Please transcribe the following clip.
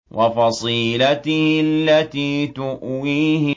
وَفَصِيلَتِهِ الَّتِي تُؤْوِيهِ